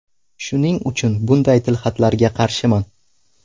Shuning uchun bunday tilxatlarga qarshiman.